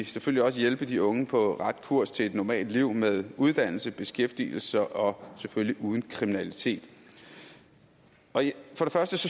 selvfølgelig også hjælpe de unge på ret kurs til et normalt liv med uddannelse beskæftigelse og selvfølgelig uden kriminalitet jeg